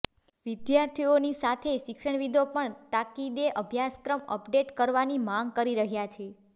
વિદ્યાર્થીઓની સાથે શિક્ષણવિદો પણ તાકીદે અભ્યાસક્રમ અપડેટ કરવાની માંગ કરી રહ્યા છે